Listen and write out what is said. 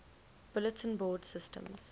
bulletin board systems